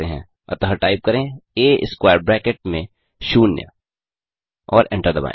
अतः टाइप करें आ स्क्वेयर ब्रैकेट में शून्य और एंटर दबाएँ